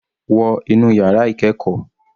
Wọ inú yàrá ìkẹ́ẹ̀kọ́.